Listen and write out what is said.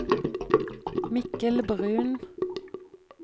Mikkel Bruun